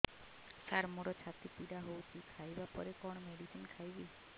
ସାର ମୋର ଛାତି ପୀଡା ହଉଚି ଖାଇବା ପରେ କଣ ମେଡିସିନ ଖାଇବି